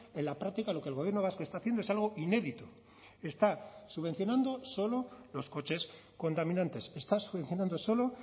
en la práctica lo que el gobierno vasco está haciendo es algo inédito está subvencionando solo los coches contaminantes está subvencionando solo